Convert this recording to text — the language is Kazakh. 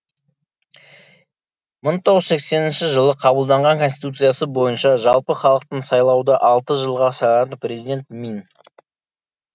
мың тоғыз жүз сексенінші жылы қабылданған конституциясы бойынша жалпыхалықтың сайлауда алты жылға сайланатын президент мин